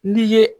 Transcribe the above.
N'i ye